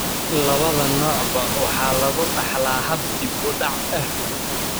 Labada noocba waxa lagu dhaxlaa hab dib u dhac ah.